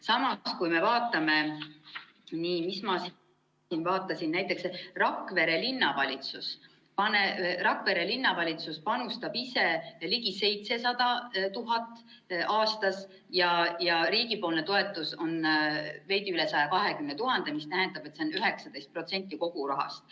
Samas näiteks Rakvere linnavalitsus panustab ise ligi 700 000 aastas ja riigipoolne toetus on veidi üle 120 000, mis tähendab, et see on 19% kogu rahast.